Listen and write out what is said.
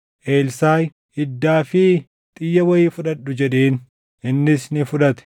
Elsaaʼi, “Iddaa fi xiyya wayii fudhadhu” jedheen; innis ni fudhate.